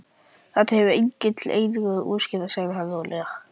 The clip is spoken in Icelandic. Þetta hefur engillinn einnig útskýrt sagði hún rólega.